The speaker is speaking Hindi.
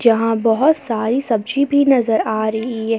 यहां बहोत सारी सब्जी भी नजर आ रही है।